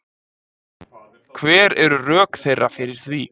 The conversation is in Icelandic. Hver eru rök þeirra fyrir því